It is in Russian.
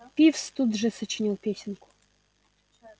пивз тут же сочинил песенку